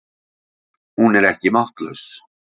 Hún er ekki máttlaus.